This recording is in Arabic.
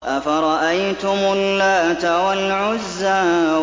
أَفَرَأَيْتُمُ اللَّاتَ وَالْعُزَّىٰ